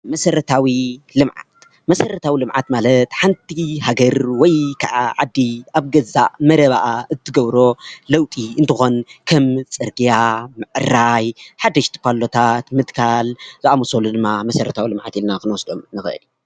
መሰረታዊ ልምዓት መሰረታዊ ልምዓት ማለት ሓንቲ ሃገር ወይከዓ ዓዲ ኣብ ገዛእ መረባኣ እትገብሮ ለውጢ እንትኾን ከም ፅርግያ ምዕራይ፣ ሓደሽቲ ፓሎታት ምትካል ዝኣመሰሉ ድማ መሰረታዊ ልምዓት ኢልና ክንወስዶም ንኽእል፡፡